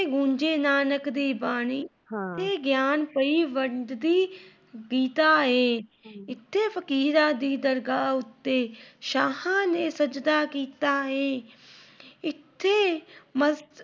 ਇੱਥੇ ਗੂੰਜੇ ਨਾਨਕ ਦੀ ਬਾਣੀ। ਇਹ ਗਿਆਨ ਪਈ ਵੰਡਦੀ, ਗੀਤਾ ਏ, ਇੱਥੇ ਫ਼ਕੀਰਾਂ ਦੀ ਦਰਗਾਹ ਉੱਤੇ ਸ਼ਾਹ ਨੇ ਸਚਦਾ ਕੀਤਾ ਏ । ਇਥੇ